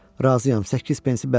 Razıyam, 8 pensi bəri ver.